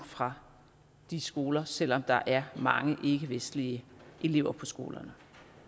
fra de skoler selv om der er mange ikkevestlige elever på skolerne